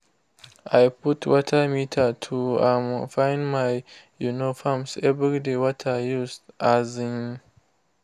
i put water meter to um find my um farms every dey water used. um